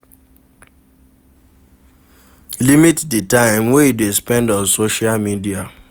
Limit di time wey you dey spend on social media